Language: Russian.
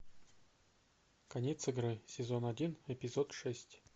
конец игры сезон один эпизод шесть